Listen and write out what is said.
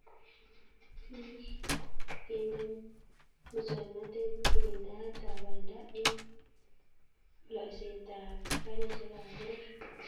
Biik, kende musokanetatb kiringdaetab banda eng loiseetab garisyekab poror.